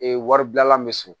Ee wari bilala bɛ so